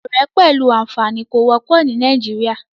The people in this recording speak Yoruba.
Ọ̀rẹ́ pẹ̀lú àfààní kò wọ́pọ̀ ní Nàìjíríà.